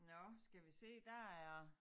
Nåh skal vi se der er